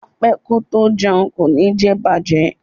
Apẹ́ kótó jẹun kò ní jẹ̀bàjẹ́.